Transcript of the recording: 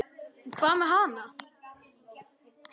Hvað með hana?